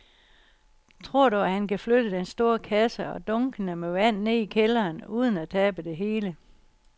Tror du, at han kan flytte den store kasse og dunkene med vand ned i kælderen uden at tabe det hele?